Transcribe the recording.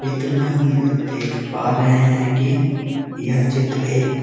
चित्र में हम यह देख पा रहे हैं की यह चित्र एक